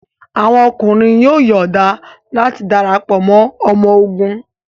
Awọn ọkunrin yoo yọọda lati darapọ mọ ọmọ ogun